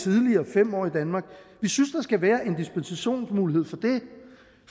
fem år i danmark vi synes der skal være en dispensationsmulighed for det